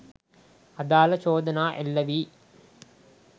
අදාල චෝදනා එල්ලවී